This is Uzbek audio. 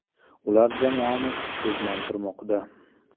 Ular jamoani kuchsizlantirmoqda.